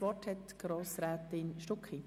Das Wort hat Grossrätin Stucki.